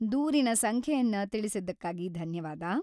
ದೂರಿನ ಸಂಖ್ಯೆಯನ್ನ ತಿಳಿಸಿದ್ದಕ್ಕಾಗಿ ಧನ್ಯವಾದ.